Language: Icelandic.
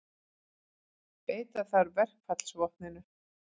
Beita þarf verkfallsvopninu